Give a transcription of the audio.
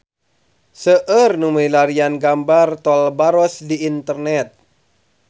Seueur nu milarian gambar Tol Baros di internet